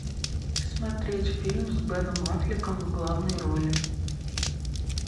смотреть фильм с беном аффлеком в главной роли